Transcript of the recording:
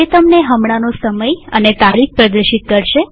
તે તમને હમણાંનો સમય અને તારીખ પ્રદર્શિત કરશે